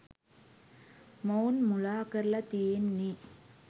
මොවුන් මුලා කරලා තියෙන්නේ.